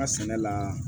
Ka sɛnɛ la